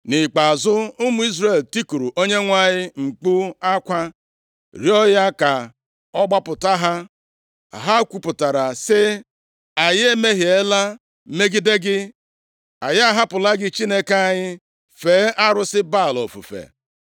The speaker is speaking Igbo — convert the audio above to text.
Nʼikpeazụ, ụmụ Izrel tikuru Onyenwe anyị mkpu akwa, rịọọ ya ka ọ gbapụta ha. Ha kwupụtara sị, “Anyị emehiela megide gị, + 10:10 \+xt Dit 1:10; 1Sa 12:10\+xt* anyị ahapụla gị Chineke anyị, fee arụsị Baal ofufe.”